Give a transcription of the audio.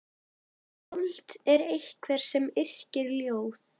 Skáld er einhver sem yrkir ljóð.